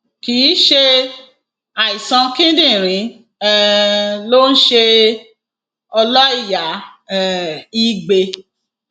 kì í ṣe àìsàn kíndìnrín um ló ń ṣe ọlọìyá um igbe